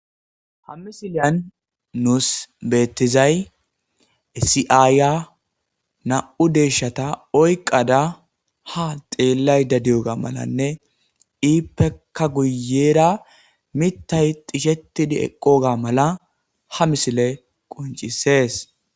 Ha misiliyani nusi betizayi issi ayiya namu'u deshata oyikada ha xelayida dewugga malatesinne ippekka guyera mithayi dhishetidi eqogga mala ha misileyi qoncisesi